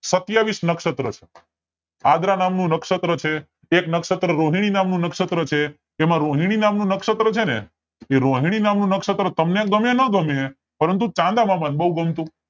સત્યાવીસ નક્ષશત્ર છે આગ્રા નામ નું નક્ષશત્ર છે કે એમાં રોહિણી નામ નું નક્ષશત્ર છે ને એ રોહિણી નામ નું નક્ષશત્ર તમને ગમે કે નો ગમે પણ ચાંદા મામા ને બોવ ગમતું